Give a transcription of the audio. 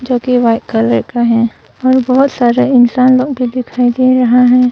जोकि white colour का है और बहुत सारे इंसान लोग भी दिखाई दे रहा है।